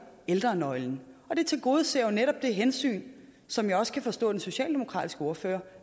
ældrenøglen og det tilgodeser jo netop det hensyn som jeg også kan forstå at den socialdemokratiske ordfører